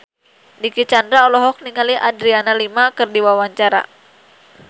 Dicky Chandra olohok ningali Adriana Lima keur diwawancara